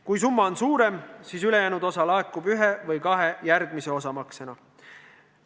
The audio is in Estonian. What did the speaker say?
Kui summa on suurem, siis laekub ülejäänud osa ühe või kahe osamaksena.